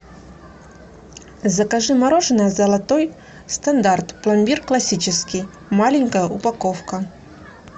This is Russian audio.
закажи мороженое золотой стандарт пломбир классический маленькая упаковка